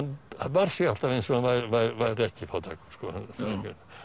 bar sig alltaf eins og hann væri ekki fátækur